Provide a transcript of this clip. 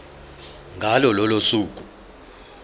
ngalo lolo suku